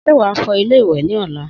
Sé wàá fọ ilé ìwè ní ọ̀la?